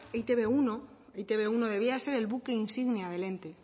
etb uno debiera de ser el buque insignia del ente